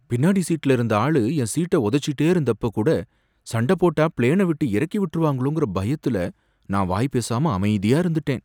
பின்னாடி சீட்ல இருந்த ஆளு என் சீட்ட உதைச்சுக்கிட்டே இருந்தப்ப கூட சண்டை போட்ட பிளேனவிட்டு இறக்கி விட்டுருவாங்களோங்கற பயத்துல நான் வாய் பேசாம அமைதியா இருந்துட்டேன்.